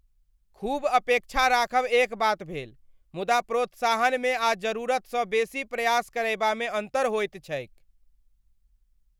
खूब अपेक्षा राखब एक बात भेल, मुदा प्रोत्साहनमे आ जरूरतसँ बेसी प्रयास करयबामे अन्तर होइत छैक।